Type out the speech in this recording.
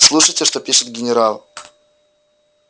слушайте что пишет генерал